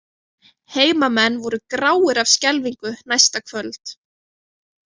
Heimamenn voru gráir af skelfingu næsta kvöld.